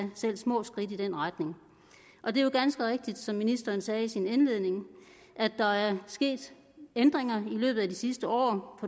små skridt i den retning og det er jo ganske rigtigt som ministeren sagde i sin indledning at der er sket ændringer i løbet af de sidste år